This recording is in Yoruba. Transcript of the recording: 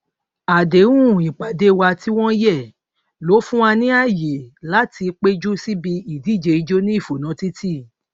àdéhùnìpàdé wa tí wọn yẹ ló fún wa ní ààyè láti péjú síbi ìdíje ijó ní ìfònà títí